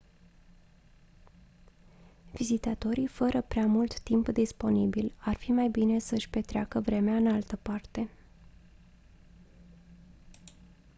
vizitatorii fără prea mult timp disponibil ar fi mai bine să-și petreacă vremea în altă parte